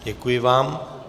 Děkuji vám.